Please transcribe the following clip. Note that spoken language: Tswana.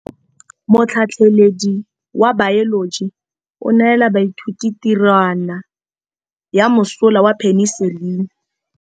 Motlhatlhaledi wa baeloji o neela baithuti tirwana ya mosola wa peniselene.